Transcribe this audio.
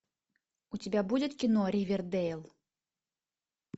у тебя будет кино ривердейл